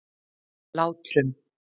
Látrum